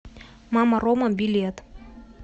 мама рома билет